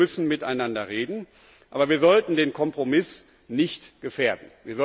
Wir müssen miteinander reden, aber wir sollten den Kompromiss nicht gefährden!